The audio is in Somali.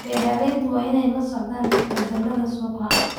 Beeralayda waa inay la socdaan isbeddellada suuqa.